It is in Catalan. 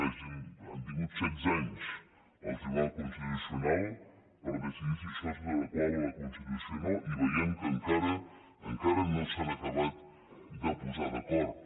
han tingut setze anys el tribunal constitucional per decidir si això s’adequava a la constitució o no i veiem que encara no s’han acabat de posar d’acord